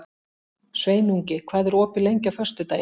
Sveinungi, hvað er opið lengi á föstudaginn?